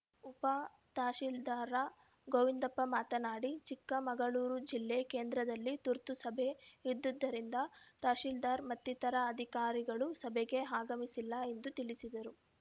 ಉಪ ತಹಶೀಲ್ದಾರ್‌ ಗೋವಿಂದಪ್ಪ ಮಾತನಾಡಿ ಚಿಕ್ಕಮಗಳೂರು ಜಿಲ್ಲಾ ಕೇಂದ್ರದಲ್ಲಿ ತುರ್ತು ಸಭೆ ಇದ್ದುದರಿಂದ ತಹಶೀಲ್ದಾರ್‌ ಮತ್ತಿತರರ ಅಧಿಕಾರಿಗಳು ಸಭೆಗೆ ಆಗಮಿಸಿಲ್ಲ ಎಂದು ತಿಳಿಸಿದರು